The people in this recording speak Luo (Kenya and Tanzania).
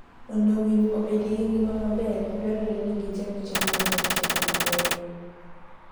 Mondo winy obedi gi ngima maber, dwarore ni gicham chiemo maler kendo mabeyo.